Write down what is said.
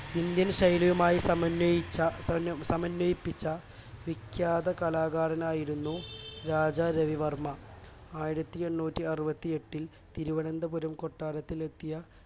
Indian ശൈലിയുമായി സമന്വയിച്ച സമന്വയിപ്പിച്ച വിഖ്യാത കലാകാരനായിരുന്നു രാജാ രവിവർമ്മ ആയിരത്തിഎണ്ണൂറ്റിഅറവത്തിഎട്ടിൽ തിരുവനന്തപുരം കൊട്ടാരത്തിൽ എത്തിയ